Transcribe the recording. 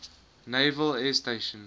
naval air station